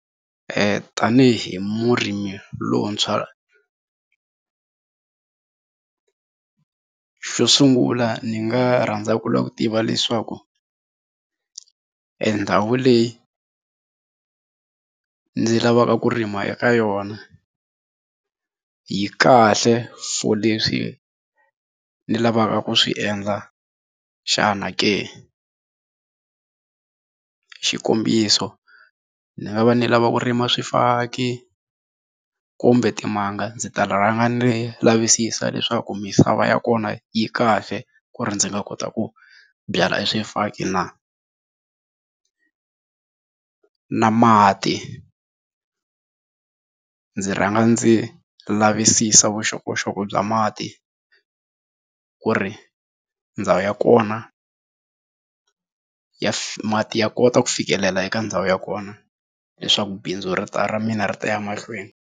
tanihi hi murimi lowuntshwa xo sungula ni nga rhandza ku lava ku tiva leswaku endhawu leyi ndzi lavaka ku rima eka yona yi kahle for leswi ni lavaka ku swi endla xana ke, xikombiso ni nga va ni lava ku rima swifaki kumbe timanga ndzi ta rhanga ni lavisisa leswaku misava ya kona yi kahle ku ri ndzi nga kota ku byala swifaki na na mati ndzi rhanga ndzi lavisisa vuxokoxoko bya mati ku ri ndhawu ya kona mati ya kota ku fikelela eka ndhawu ya kona leswaku bindzu ri ta ra mina ri ta ya mahlweni.